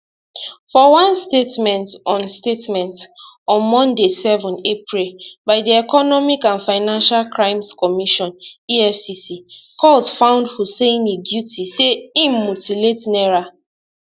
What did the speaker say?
for one statement on statement on monday 7 april by di economic and financial crimes commission efcc court find huseini guilty say im mutilate naira